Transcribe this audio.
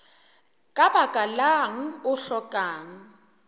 ka baka lang o hlokang